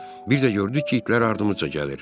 Bir də gördük ki, itlər ardımca gəlir.